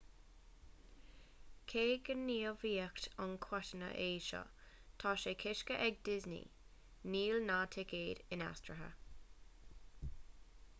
cé gur gníomhaíocht an-choitianta é seo tá sé coiscthe ag disney níl na ticéid inaistrithe